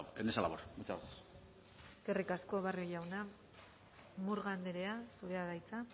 en esa labor muchas gracias eskerrik asko barrio jauna murga andrea zurea da hitza